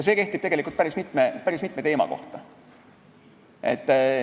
See kehtib tegelikult päris mitme teema kohta.